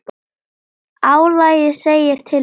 Álagið segir til sín.